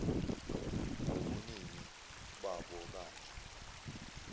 ngobuningi babo kanje